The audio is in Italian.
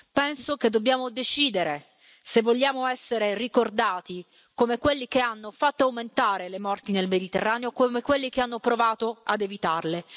Penso che dobbiamo decidere se vogliamo essere ricordati come quelli che hanno fatto aumentare le morti nel Mediterraneo o come quelli che hanno provato ad evitarle.